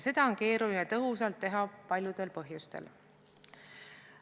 Seda on keeruline tõhusalt teha paljudel põhjustel.